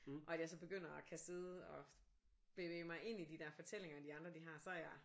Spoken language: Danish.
Og at jeg så begynder at kan sidde og bevæge mig ind i de der fortællinger de andre de har så er jeg